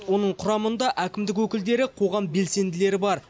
оның құрамында әкімдік өкілдері қоғам белсенділері бар